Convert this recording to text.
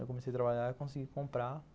Eu comecei a trabalhar e consegui comprar.